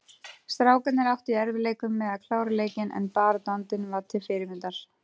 Strákarnir áttu í erfiðleikum með að klára leikinn en baráttuandinn var til fyrirmyndar.